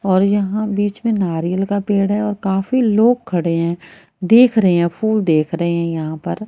और यहां बीच में नारियल का पेड़ है और काफी लोग खड़े है देख रहे है फूल देख रहे है यहां पर--